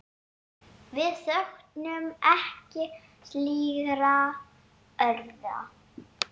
Við söknum ekki slíkra orða.